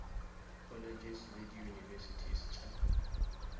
colleges le di univesities tša